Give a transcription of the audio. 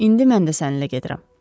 İndi mən də səninlə gedirəm.